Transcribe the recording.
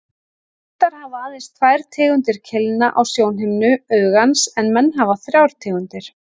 Hundar hafa aðeins tvær tegundir keilna á sjónhimnu augans en menn hafa þrjár tegundir.